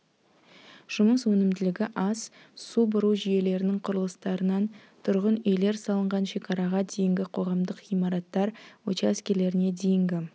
жұмыс өнімділігі аз су бұру жүйелерінің құрылыстарынан тұрғын үйлер салынған шекараға дейінгі қоғамдық ғимараттар учаскелеріне дейінгі